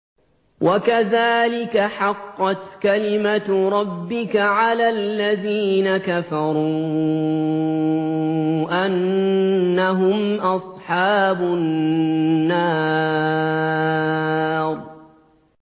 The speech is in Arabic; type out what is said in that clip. وَكَذَٰلِكَ حَقَّتْ كَلِمَتُ رَبِّكَ عَلَى الَّذِينَ كَفَرُوا أَنَّهُمْ أَصْحَابُ النَّارِ